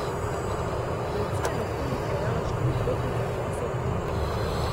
Policija je medtem odpeljala štiri potnike, dva so vklenili.